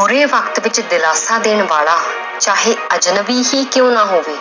ਬੁਰੇ ਵਕਤ ਵਿੱਚ ਦਿਲਾਸਾ ਦੇਣ ਵਾਲਾ ਚਾਹੇ ਅਜ਼ਨਬੀ ਹੀ ਕਿਉਂ ਨਾ ਹੋਵੇ